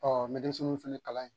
Ɔ n bɛ denmisɛnninw fana kalan ye